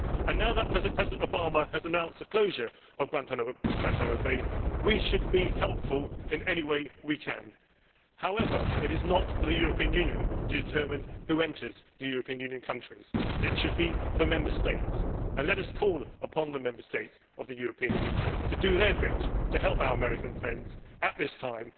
Now that President Obama has announced the closure of Guantánamo Bay, we should be helpful in any way we can. However, it is not for the European Union to determine who enters the European Union countries. It should be for Member States, and let us call upon the Member States of the European Union to do their bit to help our American friends at this time.